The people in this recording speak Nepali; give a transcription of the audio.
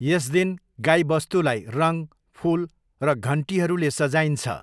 यस दिन गाईबस्तुलाई रङ, फुल र घन्टीहरूले सजाइन्छ।